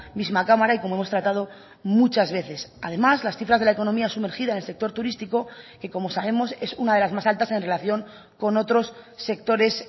misma cámara y como hemos tratado muchas veces además las cifras de la economía sumergida en el sector turístico que como sabemos es una de las más altas en relación con otros sectores